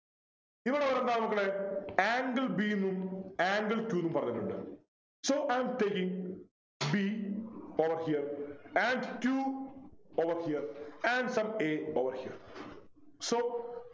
ഇവിടെ ഒരു എന്താ മക്കളെ angle b ന്നും angle q ന്നും പറഞ്ഞിട്ടുണ്ട് So I am taking b over here and q over here and some a over here so